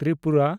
Tripura